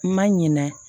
Ma ɲina